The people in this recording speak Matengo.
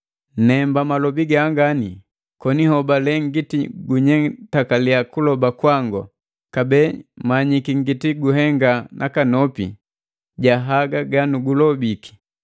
Nemba malobi gangani koni nhobale ngiti gunyetakalia kuloba kwangu kabee manyiki ngiti guhenga nakanopi ja haga ganukulobiki.